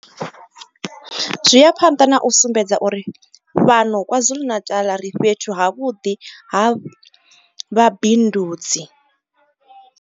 Zwi ya phanḓa na u sumbedza uri fhano KwaZulu-Natal ri fhethu havhuḓi ha vhabindudzi.